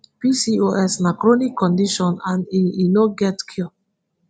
pcos na chronic condition and e e no get cure